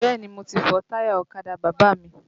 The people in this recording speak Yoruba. Bẹ́ẹ̀ni mo ti fọ táyà ọ̀kadà bàbá mi